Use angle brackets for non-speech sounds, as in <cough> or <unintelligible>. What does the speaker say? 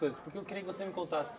<unintelligible> Porque eu queria que você me contasse.